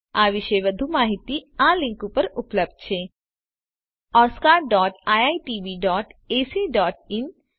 આ વિશે વધુ માહીતી આ લીંક ઉપર ઉપલબ્ધ છે oscariitbacઇન અને spoken tutorialorgnmeict ઇન્ટ્રો